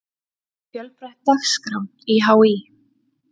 Fjölbreytt dagskrá í HÍ